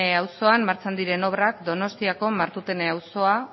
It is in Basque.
auzoan martxan diren obrak donostiako martutene auzoa